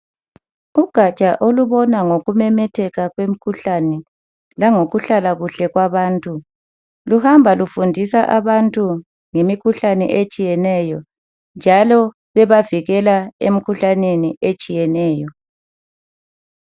Ugatsha olubona ngokumemetheka kwemikhuhlane langokuhlala kuhle kwabantu luhamba lufundisa abantu ngemikhuhlane etshiyeneyo njalo bebavikela emikhuhlaneni etshiyeneyo.